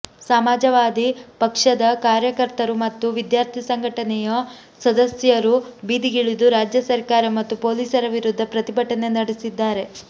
ಸಮಾಜವಾದಿ ಪಕ್ಷದ ಕಾರ್ಯಕರ್ತರು ಮತ್ತು ವಿದ್ಯಾರ್ಥಿ ಸಂಘಟನೆಯ ಸದಸ್ಯರು ಬೀದಿಗಿಳಿದು ರಾಜ್ಯ ಸರ್ಕಾರ ಮತ್ತು ಪೊಲೀಸರ ವಿರುದ್ಧ ಪ್ರತಿಭಟನೆ ನಡೆಸಿದ್ದಾರೆ